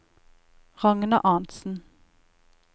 Ragna Arntsen